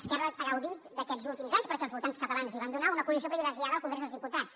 esquerra ha gaudit aquests últims anys perquè els votants catalans l’hi van donar d’una posició privilegiada al congrés dels diputats